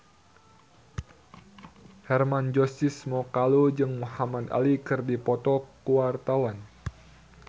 Hermann Josis Mokalu jeung Muhamad Ali keur dipoto ku wartawan